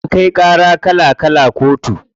Ana kai ƙara kala kala kotu.